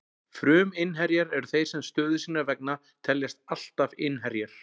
Fruminnherjar eru þeir sem stöðu sinnar vegna teljast alltaf innherjar.